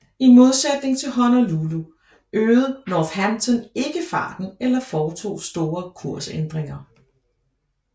I modsætning til Honolulu øgede Northampton ikke farten eller foretog store kursændringer